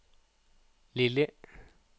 Lilli